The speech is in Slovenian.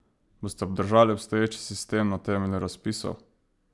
Boste obdržali obstoječi sistem na temelju razpisov?